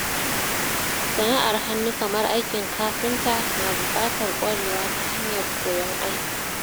Sana'ar hannu kamar aikin kafinta na buƙatar ƙwarewa ta hanyar koyon aikin